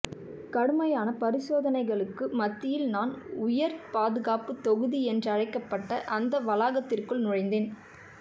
கடுமையான பரிசோதனைகளுக்கு மத்தியில் நான் உயர் பாதுகாப்பு தொகுதி என்றழைக்கப்பட்ட அந்த வளாகத்திற்குள் நுழைந்தேன்